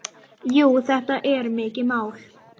Jú, þetta er mikið mál.